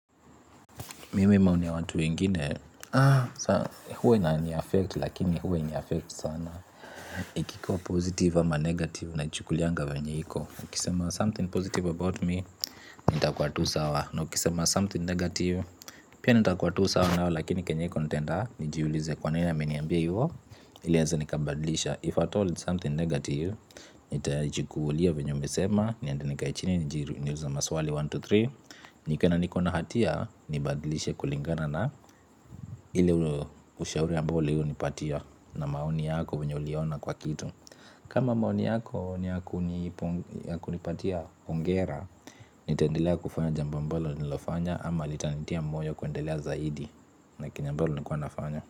Mimi maoni ya watu wengine huwa inaniaffect lakini huwa hainiaffect sana. Ikikuwa positive ama negative naichukulianga vyenye iko ukisema something positive about me, nitakuwa tu sawa na ukisema something negative, pia nitakuwa tu sawa nayo lakini chenye iko nitaenda nijiulize kwa nini ameniambia hivyo, ili weza nikabadlisha if at all it's something negative, nitaichukulia vyenye umesema niende nikae chini niulize maswali moja, mbili, tatu. Nikiona niko na hatia nibadilishe kulingana na ile ushauri ambao ulionipatia na maoni yako vyenye uliona kwa kitu. Kama maoni yako ni ya ya kunipatia hongera nitaendelea kufanya jambo ambalo ninalofanya ama litanitia moyo kuendelea zaidi na chenye ambalo nilikuwa nafanya.